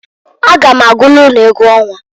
A ga m agụlụ unu egwu ọnwa.